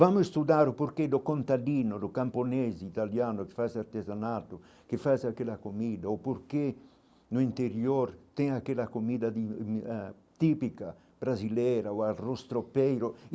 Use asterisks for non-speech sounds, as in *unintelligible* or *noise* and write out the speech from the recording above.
Vamos estudar o porquê do contadino, do camponês italiano que faz artesanato, que faz aquela comida, o porquê no interior tem aquela comida de *unintelligible* ãh típica brasileira o arroz tropeiro.